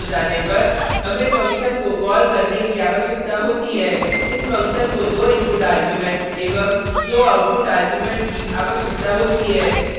एक बार function load हो जाने पर हमें फंक्शन को कॉल करने की आवश्यकता होती है इस फंक्शन को दो इनपुट आर्ग्युमेंट एवं दो आउटपुट आर्ग्युमेंट की आवश्यकता होती है